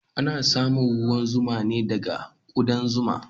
Ana samun ruwan zuma ne daga ƙudan zuma